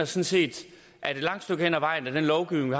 set at et langt stykke af vejen er den lovgivning